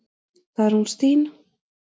Það er hún Stína.